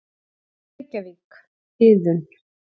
Reykjavík: Iðunn.